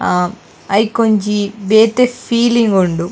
ಆ ಐಕೊಂಜಿ ಬೇತೆ ಫೀಲಿಂಗ್ ಉಂಡು.